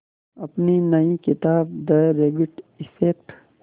अपनी नई किताब द रैबिट इफ़ेक्ट